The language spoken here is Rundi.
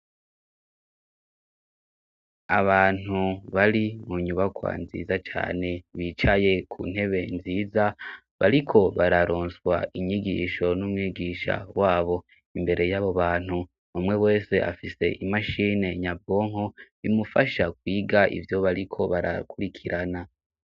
Abantu bari mu nyubakwa nziza cane bicaye ku ntebe nziza bariko bararonswa inyigisho n'umwigisha wabo imbere y'abo bantu umwe wese afise imashine nyabonko bimufasha kwiga ivyo bariko barakurikira ana.